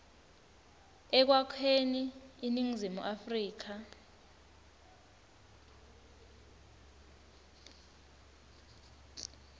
ekwakheni iningizimu afrika